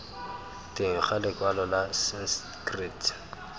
teng ga lekwalo la sanskrit